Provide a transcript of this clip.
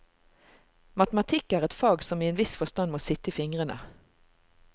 Matematikk er et fag som i en viss forstand må sitte i fingrene.